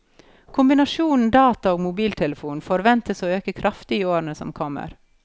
Kombinasjonen data og mobiltelefon forventes å øke kraftig i årene som kommer.